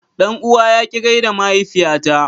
Dan uwa ya ki gaida mahaifiyata.